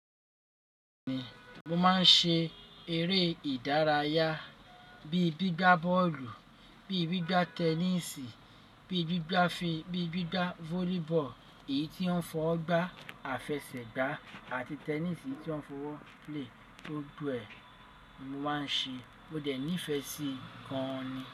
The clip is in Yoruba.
Mo máa ń ṣe eré ìdárayá bíi gbígba bọ́ọ̀lù, bíi gbígba tẹníìsì, bíi gbígba fí, bíi gbígba volleyball, èyí tí wọ́n ń fọwọ gbá, àfẹsẹ̀gbá àti tẹnísì tí wọ́n ń fọ́ lè tó gbogbo ẹ. Mo máa ń ṣe, mo dẹ̀ nífẹ̀ẹ́ sí i gan ni.